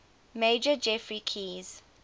major geoffrey keyes